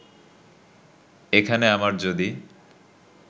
এখানে আমার যদি